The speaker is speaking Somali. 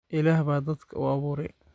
Ilaah baa dadka u abuuray